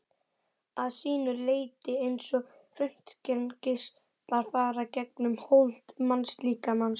að sínu leyti eins og röntgengeislar fara gegnum hold mannslíkamans.